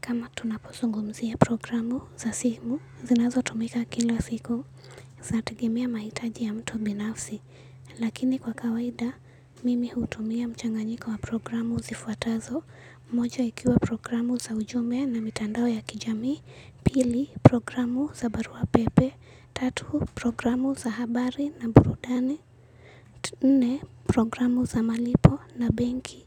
Kama tunapozungumzia programu za simu, zinazo tumika kila siku zategemea mahitaji ya mtu binafsi. Lakini kwa kawaida, mimi hutumia mchanganyiko wa programu zifuatazo. Moja ikiwa programu za ujumbe na mitandao ya kijamii. Pili, programu za barua pepe. Tatu, programu za habari na burudani. Nne, programu za malipo na benki.